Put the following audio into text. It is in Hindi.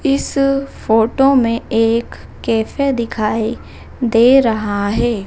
इस फोटो मे एक कैफे दिखाई दे रहा है।